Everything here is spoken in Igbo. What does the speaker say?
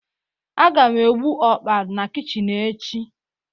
a ga m egbu okpa na kichin echi